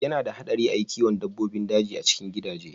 Ya na haɗari a kiwo dabbobin daji a cikin gidaje.